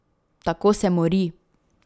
Tako se mori.